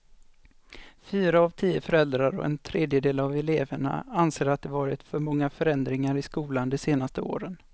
Fyra av tio föräldrar och en tredjedel av eleverna anser att det varit för många förändringar i skolan de senaste åren.